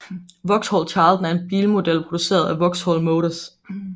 Vauxhall Carlton er en bilmodel produceret af Vauxhall Motors